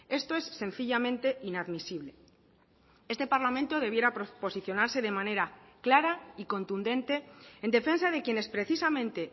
esto es sencillamente inadmisible este parlamento debiera posicionarse de manera clara y contundente en defensa de quienes precisamente